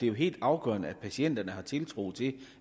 jo helt afgørende at patienterne har tiltro til